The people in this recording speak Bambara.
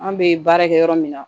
An bɛ baara kɛ yɔrɔ min na